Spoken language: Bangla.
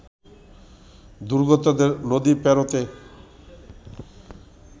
দুর্গতদের নদী পেরোতে